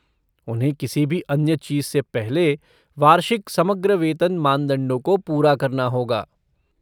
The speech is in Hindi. उन्हें किसी भी अन्य चीज़ से पहले वार्षिक समग्र वेतन मानदंडों को पूरा करना होगा।